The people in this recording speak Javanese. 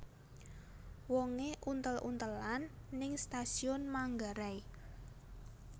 Wonge untel untelan ning Stasiun Manggarai